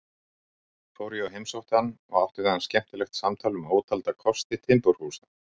Fór ég og heimsótti hann og átti við hann skemmtilegt samtal um ótalda kosti timburhúsa.